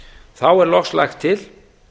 þá er loks lagt til